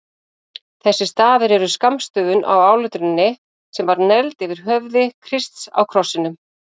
Þessir stafir eru skammstöfun á áletruninni sem var negld yfir höfði Krists á krossinum.